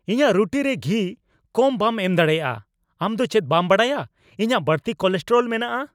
ᱤᱧᱟᱜ ᱨᱩᱴᱤᱨᱮ ᱜᱷᱤ ᱠᱚᱢ ᱵᱟᱢ ᱮᱢ ᱫᱟᱲᱮᱭᱟᱜᱼᱟ ? ᱟᱢ ᱫᱚ ᱪᱮᱫ ᱵᱟᱢ ᱵᱟᱰᱟᱭᱟ ᱤᱧᱟᱜ ᱵᱟᱹᱲᱛᱤ ᱠᱳᱞᱮᱥᱴᱮᱨᱚᱞ ᱢᱮᱱᱟᱜᱼᱟ ?